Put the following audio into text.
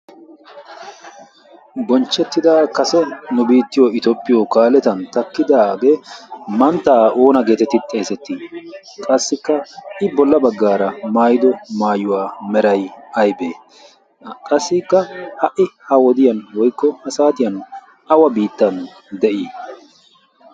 bonchchettida kase nu biittiyo itoppiyo kaaletan takkidaagee manttaa oona geetetti? xeesettii qassikka i bolla baggaara maayido maayuwaa meray aybee? qassikka ha'i ha wodiyan woikko asaatiyan awa biittan de'ii?